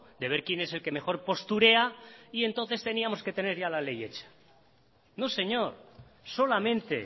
de ver quién es el que mejor posturea y entonces teníamos que tener ya la ley hecha no señor solamente